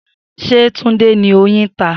Se Tunde ni oyin ta?